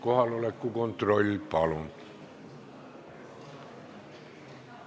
Kohaloleku kontroll, palun!